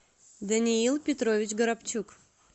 даниил петрович горобчук